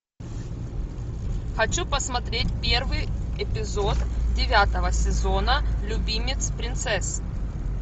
хочу посмотреть первый эпизод девятого сезона любимец принцесс